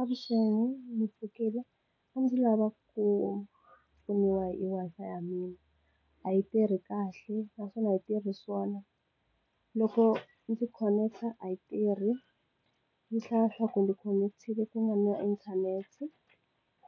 Avuxeni, ndzi pfukile a ndzi lava ku pfuniwa hi Wi-Fi ya mina a yi tirhi kahle naswona a yi tirhi swona, loko ndzi khoneketa a yi tirhi yi hlaya swa kumbe khonekitile ku nga na inthanete